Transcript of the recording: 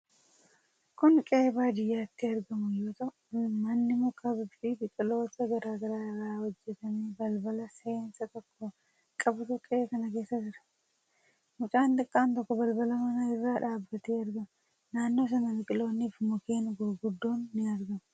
Kuni qe'ee baadiyyaatti argamu yoo ta'u, manni muka fi biqiloota garaa garaa irraa hojjatame balbala seensaa tokko qabutu qe'ee kana keessa jira. Mucaan xiqqaan tokko balbala manaa irra dhaabatee argama. Naannoo sana biqiloonni fi mukkeen gurguddoon ni argamu.